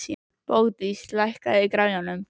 Bogdís, lækkaðu í græjunum.